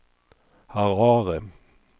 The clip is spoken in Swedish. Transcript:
Harare